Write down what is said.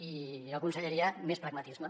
i jo aconsellaria més pragmatisme